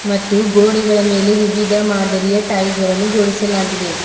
ಮತ್ತು ಗೋಡೆಗಳ ಮೇಲೆ ವಿವಿಧ ಮಾದರಿಯ ಟೈಲ್ಸ್ ಗಳನ್ನು ಜೋಡಿಸಲಾಗಿದೆ.